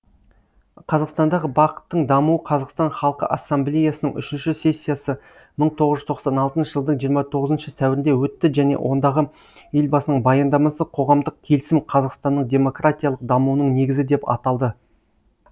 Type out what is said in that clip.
қазақстандағы бақ тың дамуы қазақстан халқы ассамблеясының үшінші сессиясы мың тоғыз жүз тоқсан алтыншы жылдың жиырма тоғызыншы сәуірінде өтті және ондағы елбасының баяндамасы қоғамдық келісім қазақстанның демократиялық дамуының негізі деп аталды